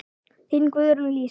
Þín, Guðrún Lísa.